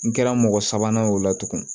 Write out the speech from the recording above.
N kɛra mɔgɔ sabanan ye o la tugun